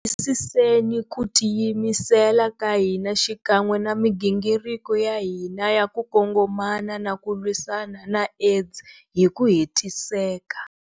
Tiyisiseni ku tiyimisela ka hina xikan'we na migingiriko ya hina ya ku kongomana na ku lwisana na AIDS hi ku hetiseka.